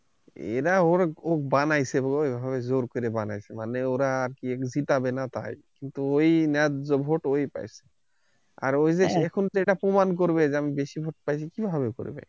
এরা ও বানাইছে ও জোর কইরা বানাইছে মানে এরা seat এই পাবেন তাই, ঐ ন্যায্য vote ঐ পাইছে আর ঐ টা যে এরা প্রমান করবে যেমন এরা কিভাবে করবে